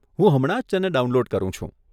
હું હમણાં જ તેને ડાઉનલોડ કરું છું.